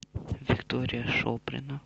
виктория шоплина